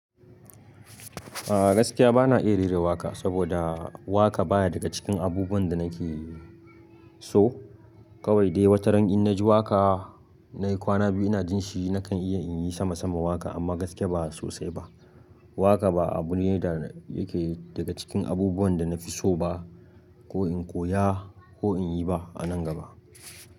A gaskiya bana iya rera waƙa saboda waƙa baya daga cikin abubuwan da nake so. Kawai dai wata ran in na ji waƙa, na yi kwana biyu ina jin shi nakan iya in yi sama sama waƙa amma gaskiya ba sosai ba. Waƙa ba abu ne da yake daga cikin abubuwan da na fi so ba, ko in koya ko in yi ba a nan gaba.